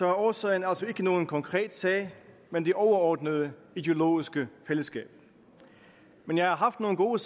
er årsagen altså ikke nogen konkret sag men det overordnede ideologiske fællesskab men jeg har haft nogle gode